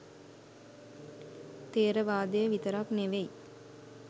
ථෙරවාදය විතරක් නෙවෙයි